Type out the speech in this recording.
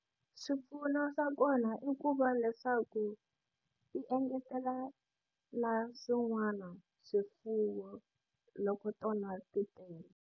Swipfuno swa kona i ku va leswaku ti engetela na swin'wana swifuwo loko tona ti tele.